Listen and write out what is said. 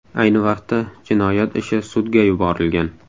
Ayni vaqtda jinoyat ishi sudga yuborilgan.